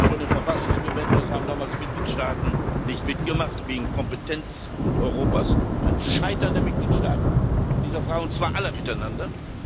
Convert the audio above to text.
schon im Verfassungskonvent es haben damals Mitgliedstaaten nicht mitgemacht wegen Kompetenzwut Europas ein Scheitern der Mitgliedstaaten in dieser Frage, und zwar aller miteinander